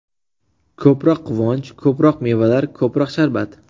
Ko‘proq quvonch, ko‘proq mevalar, ko‘proq sharbat!!!.